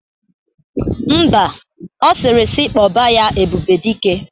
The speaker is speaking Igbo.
Ḿbà, ọ sịrị si kpoba ya "Ebube Dike"